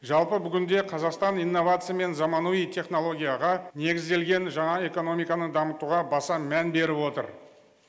жалпы бүгінде қазақстан инновация мен заманауи технологияға негізделген жаңа экономиканы дамытуға баса мән беріп отыр